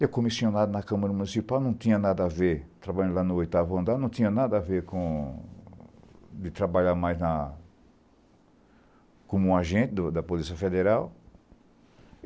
Eu, comissionado na Câmara Municipal, não tinha nada a ver, trabalhando lá no oitavo andar, não tinha nada a ver com... de trabalhar mais na... como um agente do da Polícia Federal.